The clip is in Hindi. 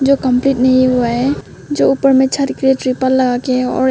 जो कंप्लीट नहीं हुआ है जो ऊपर में छत पे तिरपाल लगाकर और एक--